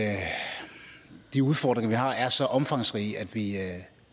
de udfordringer vi har er så omfangsrige at vi er